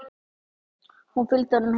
Ég fylgdi honum heim.